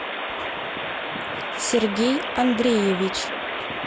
сергей андреевич